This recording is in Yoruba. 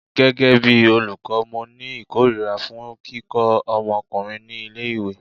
Gẹ́gẹ́ bí olùkọ́, mo ni ìkórìíra fún kíkọ́ omokunrin ní ilé ìwé.